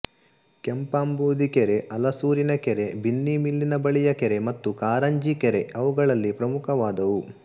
ಕೆಂಪಾಂಬುಧಿ ಕೆರೆ ಅಲಸೂರಿನ ಕೆರೆ ಬಿನ್ನಿಮಿಲ್ಲಿನ ಬಳಿಯ ಕೆರೆ ಮತ್ತು ಕಾರಂಜಿ ಕೆರೆ ಅವುಗಳಲ್ಲಿ ಪ್ರಮುಖವಾದವು